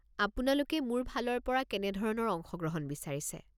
আপোনালোকে মোৰ ফালৰ পৰা কেনেধৰণৰ অংশগ্ৰহণ বিচাৰিছে?